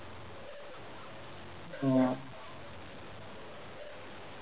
അഹ്